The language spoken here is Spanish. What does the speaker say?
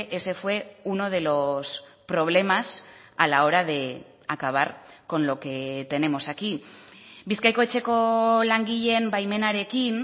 ese fue uno de los problemas a la hora de acabar con lo que tenemos aquí bizkaiko etxeko langileen baimenarekin